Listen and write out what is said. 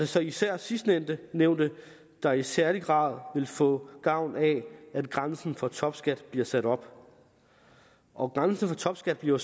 så især sidstnævnte der i særlig grad vil få gavn af at grænsen for topskat bliver sat op og grænsen for topskat bliver